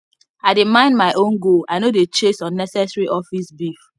i dey mind my own goal i no dey chase unnecessary office beef